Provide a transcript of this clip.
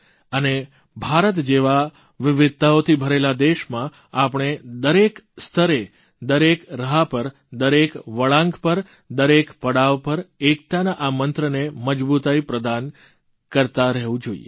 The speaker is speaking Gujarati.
અને ભારત જેવા વિવિધતાઓથી ભરેલા દેશમાં આપણે દરેક સ્તરે દરેક રાહ પર દરેક વળાંક પર દરેક પડાવ પર એકતાના આ મંત્રને મજબૂતાઇ પ્રદાન કરતા રહેવું જોઇએ